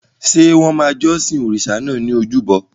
Ṣé wọ́n máa jọ́sìn òrìṣà náà ní ojúbọ?